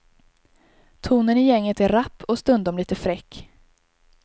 Tonen i gänget är rapp och stundom lite fräck.